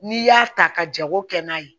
N'i y'a ta ka jago kɛ n'a ye